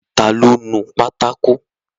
Ta ló nu pátákó?